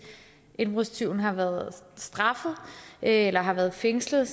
indbrudstyven har været straffet eller har været fængslet